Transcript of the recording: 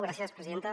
gràcies presidenta